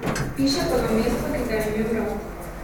Piše pa ga mesto, ki ga je imel rad.